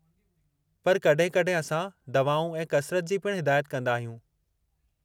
पर कॾहिं-कॾहिं असां दवाऊं ऐं कसरत जी पिणु हिदायत कंदा आहियूं।